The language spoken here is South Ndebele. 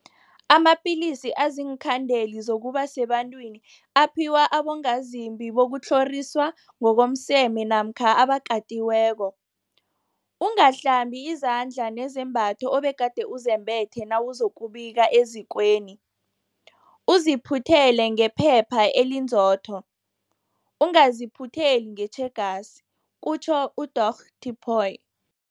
Amapilisi aziinkhandeli zokuba sebantwini aphiwa abongazimbi bokutlhoriswa ngokomseme namkha abakatiweko. Ungahlambi izandla nezembatho obegade uzembethe nawuzokubika ezikweni, uziphuthele ngephepha elinzotho, ungaziphutheli ngetjhegasi kutjho uDorh Tipoy.